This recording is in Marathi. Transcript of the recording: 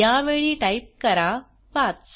यावेळी टाईप करा 5